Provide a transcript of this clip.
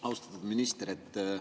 Austatud minister!